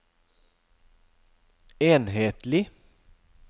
enhetlig